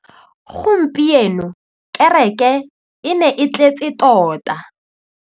Gompieno kêrêkê e ne e tletse tota.